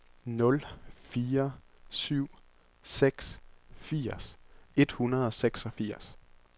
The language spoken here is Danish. nul fire syv seks firs et hundrede og seksogfirs